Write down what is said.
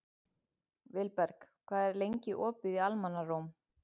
Vilberg, hvað er lengi opið í Almannaróm?